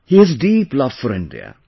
He has deep seated love for India